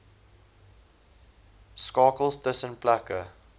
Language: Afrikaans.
skakels tussen plekke